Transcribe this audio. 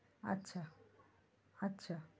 আচ্ছা আচ্ছা,